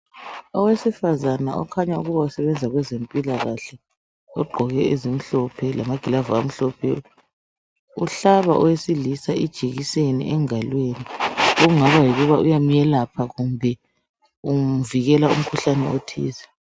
Owesifazana otshengisa ukuthi usebenza esibhedlela umhlaba owesilisa ijekiseni okutshengisa ukuthi uyamelapha loba umvikela umkhuhlane othile.